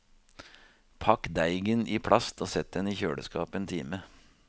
Pakk deigen i plast og sett den i kjøleskap en time.